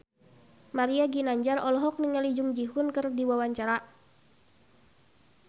Mario Ginanjar olohok ningali Jung Ji Hoon keur diwawancara